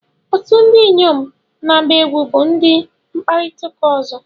Otu ndị inyom na-agba egwú bụ ụdị mkpakọrịta ọzọ.